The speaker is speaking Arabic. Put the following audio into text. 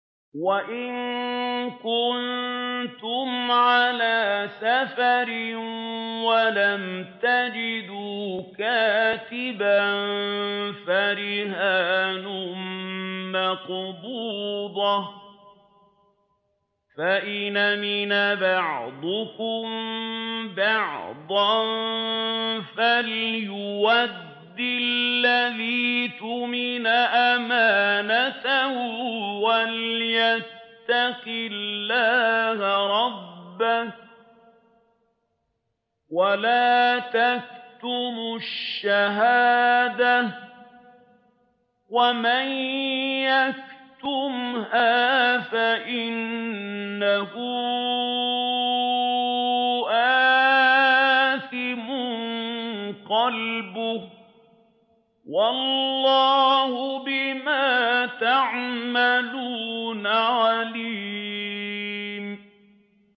۞ وَإِن كُنتُمْ عَلَىٰ سَفَرٍ وَلَمْ تَجِدُوا كَاتِبًا فَرِهَانٌ مَّقْبُوضَةٌ ۖ فَإِنْ أَمِنَ بَعْضُكُم بَعْضًا فَلْيُؤَدِّ الَّذِي اؤْتُمِنَ أَمَانَتَهُ وَلْيَتَّقِ اللَّهَ رَبَّهُ ۗ وَلَا تَكْتُمُوا الشَّهَادَةَ ۚ وَمَن يَكْتُمْهَا فَإِنَّهُ آثِمٌ قَلْبُهُ ۗ وَاللَّهُ بِمَا تَعْمَلُونَ عَلِيمٌ